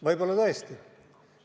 Võib-olla tõesti on nii.